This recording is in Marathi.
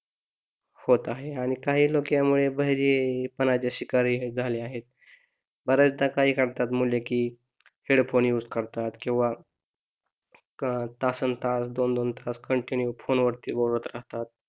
होत आहे आणि काही लोक यामुळे बहिरेपणाचे शिकारी हे झाले आहे बऱ्याचदा काय करतात मुले की हेडफोन युझ करतात किंवा तासनतास दोन, दोन तास कॉन्टीनुए फोन वरती बोलत राहतात